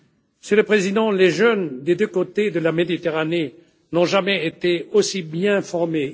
Monsieur le Président, les jeunes des deux côtés de la Méditerranée n'ont jamais été aussi bien formés.